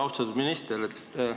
Austatud minister!